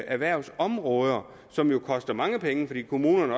erhvervsområder som jo koster mange penge fordi kommunerne